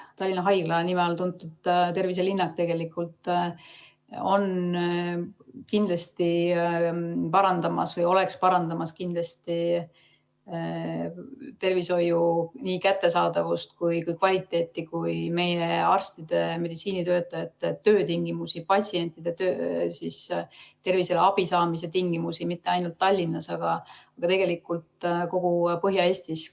Tallinna Haigla nime all tuntud terviselinnak kindlasti parandab nii tervishoiuteenuste kättesaadavust ja kvaliteeti kui ka meie meditsiinitöötajate töötingimusi ja patsientide terviseabi saamise tingimusi mitte ainult Tallinnas, vaid tegelikult kogu Põhja-Eestis.